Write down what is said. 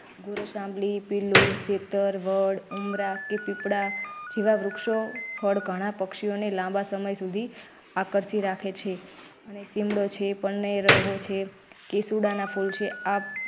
ગોરસઆમલી, , વડ ઉમરા કે પીપળા જેવા વૃક્ષો ઘણાં પક્ષીઓને લાંબા સમય સુધી આકર્ષી રાખે છે અને સીમરો છે. કેસુડાના ફૂલ છે.